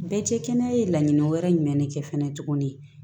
Bɛɛ cɛ kɛnɛya ye laɲini wɛrɛ jumɛn de kɛ fɛnɛ tuguni